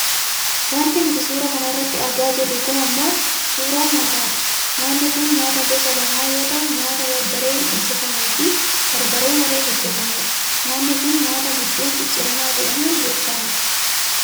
Wanti nuti suura kana irratti argaa jirru kun ammoo suuraa nyaataati. Nyaanni kun nyaata gosa lamaa yoo ta'u nyaata barbareen hojjatameefi barbaree malee hojjatamedha. Nyaanni kun nyaata buddeen cicciramaa jedhamuun beekkamudha.